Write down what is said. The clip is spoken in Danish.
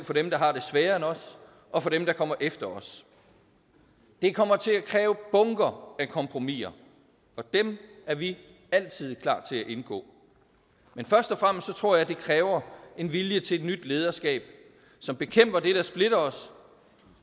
for dem der har det sværere end os og for dem der kommer efter os det kommer til at kræve bunker af kompromiser og dem er vi altid klar til at indgå men først og fremmest tror jeg at det kræver en vilje til et nyt lederskab som bekæmper det der splitter os